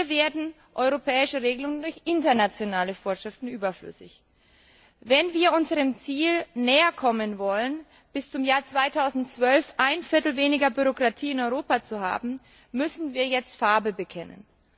Hier werden europäische Regelungen durch internationale Vorschriften überflüssig. Wenn wir unserem Ziel näherkommen wollen, bis zum Jahr 2012 ein Viertel weniger Bürokratie in Europa zu haben, müssen wir jetzt Farbe bekennen.